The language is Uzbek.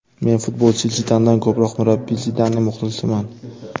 Men futbolchi Zidandan ko‘proq murabbiy Zidanning muxlisiman.